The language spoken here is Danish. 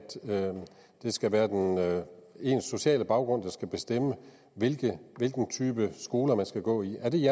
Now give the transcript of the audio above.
det skal være ens sociale baggrund der skal bestemme hvilken type skoler man skal gå i